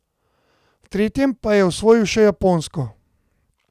V tretjem pa je osvojil še Japonsko.